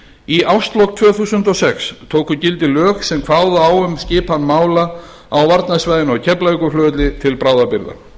í árslok tvö þúsund og sex tóku gildi lög sem kváðu á um skipan mála á varnarsvæðinu á keflavíkurflugvelli til bráðabirgða